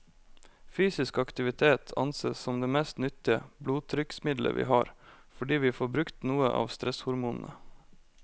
Fysisk aktivitet ansees som det mest nyttige blodtrykksmiddelet vi har, fordi vi får brukt noe av stresshormonene.